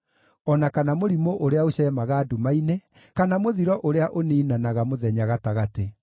o na kana mũrimũ ũrĩa ũceemaga nduma-inĩ, kana mũthiro ũrĩa ũniinanaga mũthenya gatagatĩ.